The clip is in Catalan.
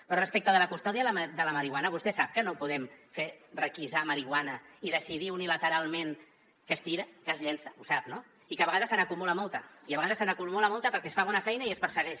però respecte de la custòdia de la marihuana vostè sap que no ho podem fer requisar marihuana i decidir unilateralment que es tira que es llença ho sap no i que a vegades se n’acumula molta perquè es fa bona feina i es persegueix